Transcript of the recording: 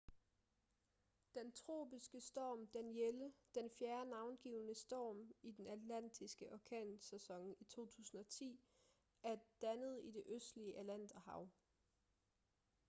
den tropiske storm danielle den fjerde navngivne storm i den atlantiske orkansæson i 2010 er dannet i det østlige atlanterhav